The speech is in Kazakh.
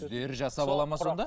өздері жасап алады ма сонда